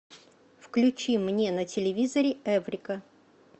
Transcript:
включи мне на телевизоре эврика